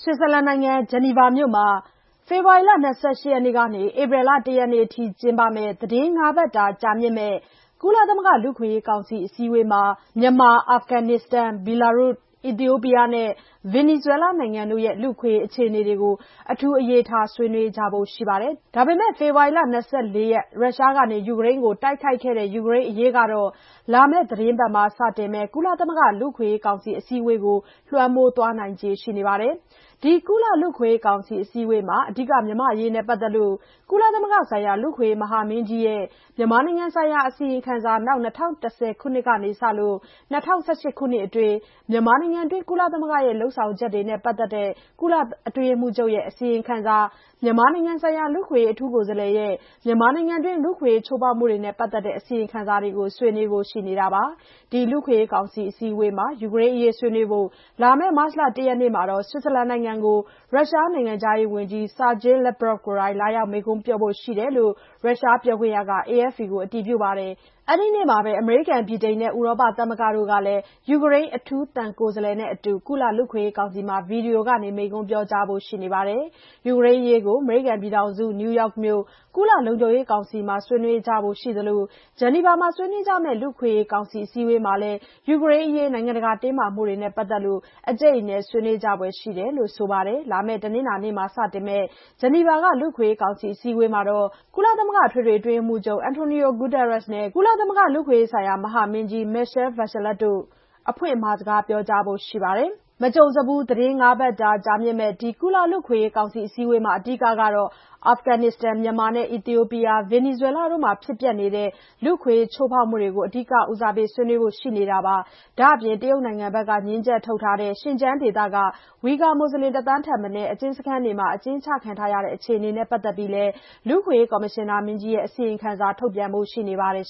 ွစ်ဇာလန်နိုင်ငံ ဂျာနီဗာမြို့မှာ ဖေဖော်ဝါရီလ ၂၈ရက်နေ့ကနေ ဧပြီလ ၁ရက်နေ့အထိ ကျင်းပမယ့် သီတင်းငါးပတ်တာကြာမြင့်တဲ့ ကုလသမဂ္ဂလူ့အခွင့်အရေးကောင်စီအစည်းအဝေးမှာ မြန်မာ အာဖဂန်နစ္စတန် ဘီလာရုစ် အီသီယိုပီးယားနဲ့ ဗင်နီးဇွဲလားနိုင်ငံတို့ရဲ့ လူ့အခွင့်အရေးအခြေအနေတွေကို အထူးအရေးထားဆွေးနွေးကြဖို့ရှိပါတယ်။ ဒါပေမယ့် ဖေဖော်ဝါရီလ၂၄ က ရုရှားက ယူကရိန်းကိုတိုက်ခိုက်ခဲ့တဲ့ ယူကရိန်းအရေးက လာမယ့်သီတင်းပတ်မှာ စတင်မယ့် ကုလသမဂ္ဂလူ့အခွင့်အရေးကောင်စီ အစည်းအဝေးကိုတော့ လွှမ်းမိုးသွားနိုင်ခြေရှိနေပါတယ်။ ဒီကုလလူ့အခွင့်အရေးကောင်စီအစည်းအဝေးမှာ အဓိက မြန်မာအရေးနဲ့ပတ်သက်လို့ ကုလသမဂ္ဂဆိုင်ရာ လူ့အခွင့်အရေးမဟာမင်းကြီးရဲ့ မြန်မာနိုင်ငံနိုင်ရာအစီရင်ခံစာ၊ နောက် ၂၀၁၀ ခုနှစ်ကနေစလို့ ၂၀၁၈ ခုနှစ်အတွင်း မြန်မာနိုင်ငံတွင်း ကုလသမဂ္ဂရဲ့ လုပ်ဆောင်ချက်တွေနဲ့ပတ်သက်တဲ့ ကုလအတွင်းရေးမှူးချုပ်ရဲ့ အစီရင်ခံစာနဲ့ မြန်မာနိုင်ငံဆိုင်ရာ လူ့အခွင့်အရေးအထူးကိုယ်စားလှယ် ရဲ့ မြန်မာနိုင်ငံတွင်း လူ့အခွင့်အရေးချိုးဖောက်မှုတွေနဲ့ပတ်သက်တဲ့အစီရင်ခံစာတွေကို ဆွေးနွေးဖို့ရှိနေတာပါ။ ဒီလူ့အခွင့်အရေးကောင်စီအစည်းအဝေးမှာ ယူကရိန်းအရေးဆွေးနွေးဖို့-လာမယ့် မတ်လ ၁ ရက်နေ့မှာ ဆွစ်ဇာလန်နိုင်ငံကို ရုရှားနိုင်ငံခြားရေးဝန်ကြီး Sergei Lavrov ကိုယ်တိုင် လာရောက်မိန့်ခွန်းပြောဖို့ရှိတယ်လို့ ရုရှားပြောခွင့်ရက AFP သတင်းဌာနကို အတည်ပြုပါတယ်။ အဲ့ဒီ့နေ့မှာပဲ အမေရိကန် ဗြိတိန်နဲ့ ဥရောပသမဂ္ဂတို့ကလည်း ယူကရိန်း အထူးသံကိုယ်စားလှယ်နဲ့အတူ ကုလလူ့အခွင့်အရေးကောင်စီမှာ ဗီဒီယိုကနေ မိန့်ခွန်းပြောကြားဖို့ရှိနေပါတယ်။ ယူကရိန်းအရေးကို အမေရိကန်ပြည်ထောင်စု နယူးထောက်မြို့ ကုလလုံခြုံရေးကောင်စီမှာ ဆွေးနွေးကြဖို့ရှိနေသလို ဂျနီဗာမှာ ဆွေးနွေးကြမယ့် လူ့အခွင့်အရေးကောင်စီအစည်းအဝေးမှာလည်း ယူကရိန်းအေရေး နိုင်ငံတကာတင်းမာမှုတွေနဲ့ပတ်သက်လို့ အကြိတ်အနယ် ဆွေးနွေးကြဖွယ်ရှိနေတယ်လို့ဆို ပါတယ်။ လာမယ့်တနင်္လာနေ့မှာ စတင်မယ့် ဂျနီဗာက လူ့အခွင့်အရေးကောင်စီအစည်းအဝေးမှာ ကုလသမဂ္ဂအထွေထွေအတွင်းရေးမှူးချုပ် အန်တိုနီယိုဂူတာရက်စ်နဲ့ ကုလသမဂ္ဂလူ့အခွင့်အရေးဆိုင်ရာမဟာမင်းကြီး Michelle Bachelet တို့ အဖွင့်အမှာစကားပြောကြားဖို့ရှိပါတယ်။ မကြုံစဖူး သီတင်းငါးပတ်တာကြာမြင့်မယ့် ဒီကုလလူ့အခွင့်အရေးကောင်စီအစည်းအဝေးမှာ အဓိကကတော့ အာဖဂန်နစ္စတန် မြန်မာနဲ့ အီသီယိုပီးယား ဗင်နီဇွဲလားတို့မှာ ဖြစ်ပျက်နေတဲ့ လူ့အခွင့်အရေးချိုးဖောက်မှုတွေကို အဓိကဦးစားပေးဆွေးနွေးကြဖို့ရှိနေတာပါ။ ဒါ့အပြင် တရုတ်နိုင်ငံဘက်က ငြင်းချက်ထုတ်ထားတဲ့ ရှင်ကျန်းဒေသက ဝီကာမူဆလင် တသန်းထက်မနည်း အကျဉ်းစခန်းတွေမှာ အကျဉ်းချခံထားတဲ့ အခြေအနေနဲ့ပတ်သက်ပြီးလည်း လူ့အခွင့်အရေးကော်မရှင်နာမင်းကြီးရဲ့အစီရင်ခံစာထုတ်ပြန်ဖို့ရှိနေပါတယ်